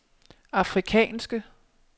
afrikanske